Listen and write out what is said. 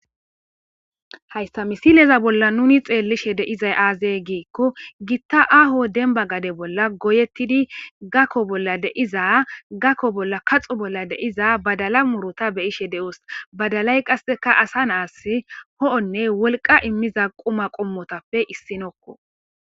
hayssa misileza bolla nuni xeellishe deizay aazey giikko gitta aaho denba gade bolla goyettidi gakko bolla deiza gakko bolla kaxo bolla deiza badala murota beyishe de7os badalay qasseka asa naas ho7onne wolqa immiza quma qommotappe issinokko